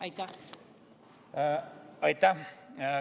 Aitäh!